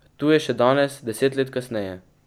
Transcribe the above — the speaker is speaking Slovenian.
Tu je še danes, deset let kasneje.